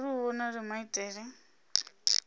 hu vhonale maitele